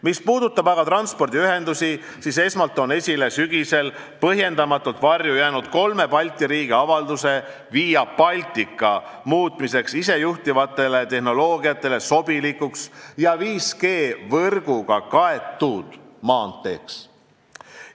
Mis puudutab aga transpordiühendusi, siis esmalt toon esile sügisel põhjendamatult varju jäänud kolme Balti riigi avalduse Via Baltica muutmiseks isejuhtivale tehnoloogiale sobilikuks ja 5G võrguga kaetud maanteeks.